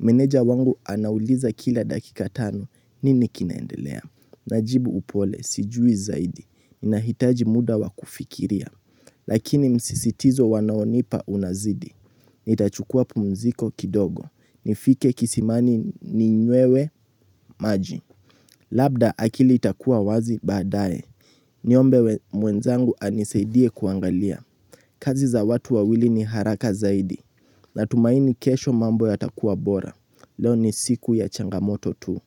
Meneja wangu anauliza kila dakika tano, nini kinaendelea. Najibu upole, sijui zaidi. Ninahitaji muda wa kufikiria. Lakini msisitizo wanaonipa unazidi. Nitachukua pumziko kidogo. Nifike kisimani ninywewe maji Labda akili itakua wazi baadaye. Niombe mwenzangu anisaidie kuangalia. Kazi za watu wawili ni haraka zaidi. Natumaini kesho mambo yatakuwa bora. Leo ni siku ya changamoto tu.